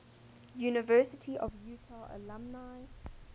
university of utah alumni